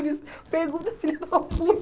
Ele, hum... Pergunta, filho da puta!